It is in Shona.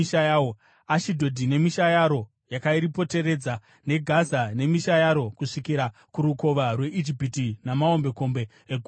Ashidhodhi nemisha yaro yakaripoteredza neGaza nemisha yaro kusvikira kurukova rweIjipiti namahombekombe eGungwa Guru.